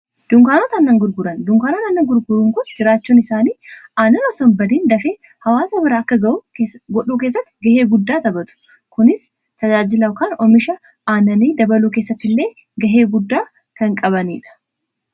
Dunkaanota aannan gurguran: dunkaanootni aannan gurguran kun jiraachuun isaanii aannan osoo hin badiin dafee hawaasa biraa akka ga'u godhuu keessatti gahee guddaa taphatu. Kunis tajaajila kan omisha aannanii dabaluu keessatti illee gahee guddaa kan qabaniidha.